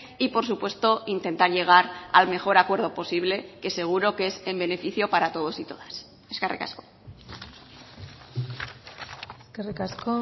y por supuesto intentar llegar al mejor acuerdo posible que seguro que es en beneficio para todos y todas eskerrik asko eskerrik asko